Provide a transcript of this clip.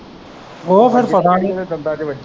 ਉਹ ਫੇਰ ਪਤਾ ਨਹੀਂ ਦੰਦਾਂ ਚ ਵੱਜੀ।